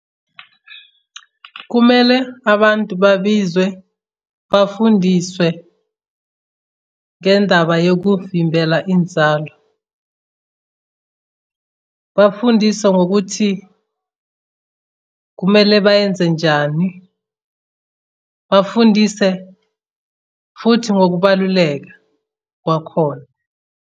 Kumele abantu babizwe bafundiswe ngendaba yokuvimbela inzalo, bafundiswe ngokuthi kumele bayenze njani. Bafundise futhi ngokubaluleka kwakhona.